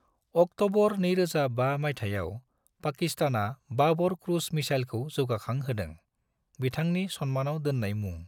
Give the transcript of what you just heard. October 2005 मायथाइयाव, पाकिस्तानआ Babur cruise मिसाइलखौ जौगाखां होदों, बिथांनि सनमानाव दोननाय मुं।